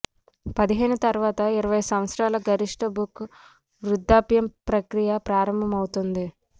పదిహేను తరువాత ఇరవై సంవత్సరాల గరిష్ట బుష్ వృద్ధాప్యం ప్రక్రియ ప్రారంభమవుతుంది